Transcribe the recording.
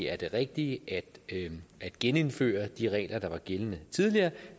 er det rigtige at at genindføre de regler der var gældende tidligere